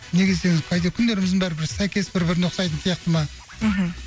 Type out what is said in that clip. неге десеңіз күндеріміздің бәрі бір сәйкес бір біріне ұқсайтын сияқты ма мхм